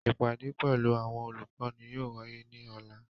Ipade pẹlu awọn olukọni yóò waye ni ọla.